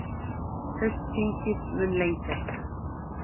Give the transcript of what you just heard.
Haustþingið mun lengjast